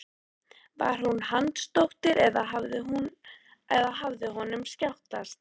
Var hún Hansdóttir eða hafði honum skjátlast?